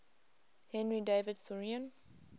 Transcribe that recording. henry david thoreau